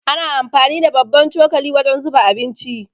Ana amfani da babban cokali wajen zuba abinci.